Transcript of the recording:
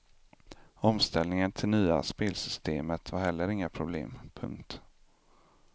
Omställningen till nya spelsystemet var heller inga problem. punkt